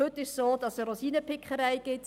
Heute findet eine Rosinenpickerei statt.